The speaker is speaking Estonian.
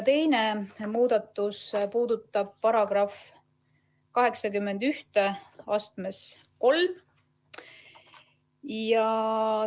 Teine muudatus puudutab § 813.